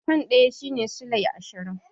Fan ɗaya shine sulai ashirin.